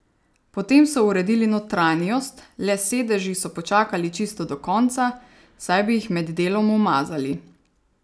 Potem so uredili notranjost, le s sedeži so počakali čisto do konca, saj bi jih med delom umazali.